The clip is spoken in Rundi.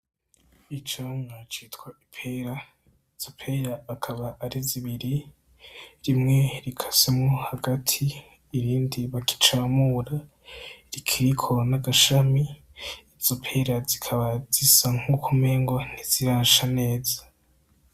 Icomwacitwa ipera zopela akaba ari zibiri rimwe rikasemo hagati ibindi bakicamura rikiriko n'agashami izopela zikaba zisa nk'ukomengo ntizirasha neza.